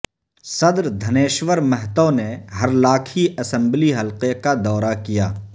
صدر دھنیشور مہتو نے ہرلاکھی اسمبلی حلقہ کا دورہ کیا